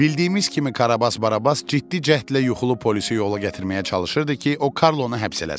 Bildiyimiz kimi Karabas Barabas ciddi cəhdlə yuxulu polisi yola gətirməyə çalışırdı ki, o Karlonu həbs eləsin.